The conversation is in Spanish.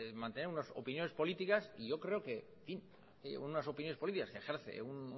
mantener unas opiniones políticas y yo creo que en fin unas opiniones políticas que ejerce un